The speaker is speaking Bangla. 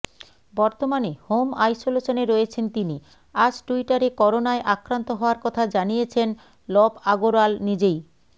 বর্তমানে হোম আইসোলেশনে রয়েছেন তিনি আজ টুইটারে করোনায় আক্রান্ত হওয়ার কথা জানিয়েছেন লব আগরওয়াল নিজেই